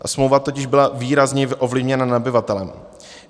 Smlouva totiž byla výrazně ovlivněna nabyvatelem.